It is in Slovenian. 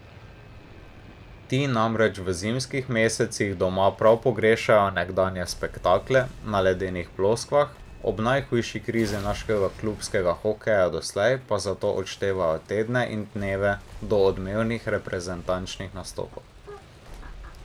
Ti namreč v zimskih mesecih doma prav pogrešajo nekdanje spektakle na ledenih ploskvah, ob najhujši krizi našega klubskega hokeja doslej pa zato odštevajo tedne in dneve do odmevnih reprezentančnih nastopov.